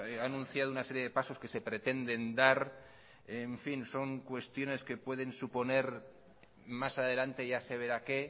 ha anunciado una serie de pasos que se pretenden dar en fin son cuestiones que pueden suponer más adelante ya se verá qué